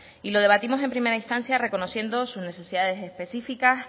lo debatimos en primera instancia reconociendo sus necesidades específicas